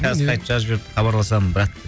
қазір қайтып жазып жіберді хабарласамын брат